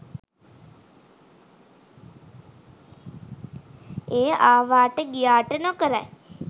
එය ආවාට ගියාට නොකරයි